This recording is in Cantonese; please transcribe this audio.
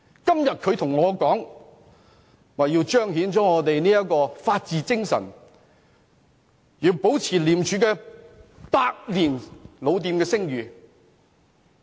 今天，他們說道要彰顯法治精神，要保持廉署這間百年老店的聲譽。